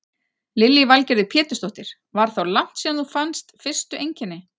Lillý Valgerður Pétursdóttir: Var þá langt síðan þú fannst fyrstu einkenni?